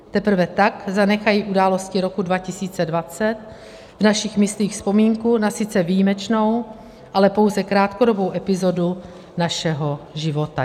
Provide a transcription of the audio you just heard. Teprve tak zanechají události roku 2020 v našich myslích vzpomínku na sice výjimečnou, ale pouze krátkodobou epizodu našeho života.